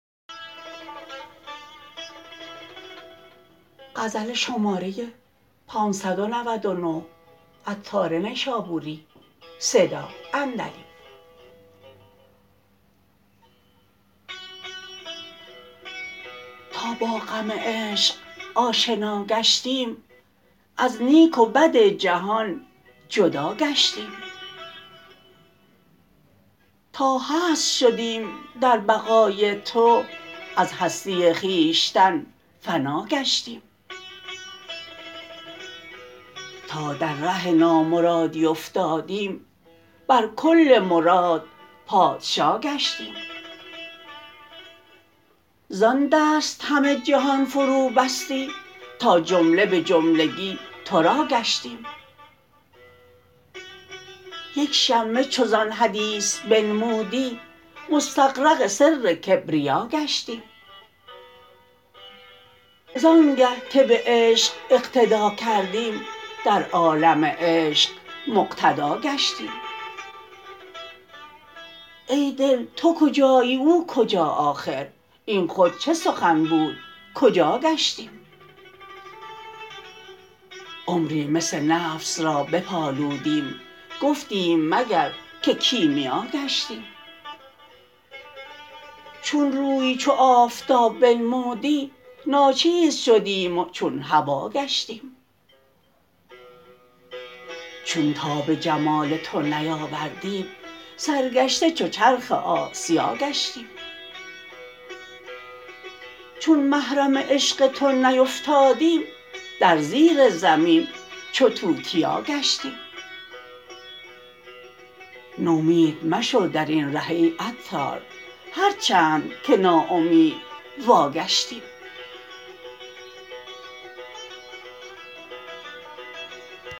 تا با غم عشق آشنا گشتیم از نیک و بد جهان جدا گشتیم تا هست شدیم در بقای تو از هستی خویشتن فنا گشتیم تا در ره نامرادی افتادیم بر کل مراد پادشا گشتیم زان دست همه جهان فرو بستی تا جمله به جملگی تورا گشتیم یک شمه چو زان حدیث بنمودی مستغرق سر کبریا گشتیم زانگه که به عشق اقتدا کردیم در عالم عشق مقتدا گشتیم ای دل تو کجایی او کجا آخر این خود چه سخن بود کجا گشتیم عمری مس نفس را بپالودیم گفتیم مگر که کیمیا گشتیم چون روی چو آفتاب بنمودی ناچیز شدیم و چون هوا گشتیم چون تاب جمال تو نیاوردیم سرگشته چو چرخ آسیا گشتیم چون محرم عشق تو نیفتادیم در زیر زمین چو توتیا گشتیم نومید مشو درین ره ای عطار هرچند که نا امید وا گشتیم